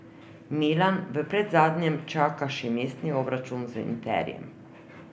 Milan v predzadnjem čaka še mestni obračun z Interjem.